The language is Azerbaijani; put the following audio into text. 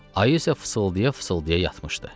Ayı isə fısıldaya-fısıldaya yatmışdı.